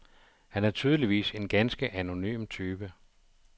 Han er tydeligvis en ganske anonym type.